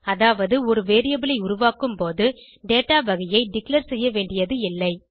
அதாவது ஒரு வேரியபிள் ஐ உருவாக்கும்போது dataவகையை டிக்ளேர் செய்யவேண்டியது இல்லை